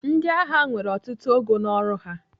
Ndịagha nwere ọtụtụ ogo n'ọrụ ha.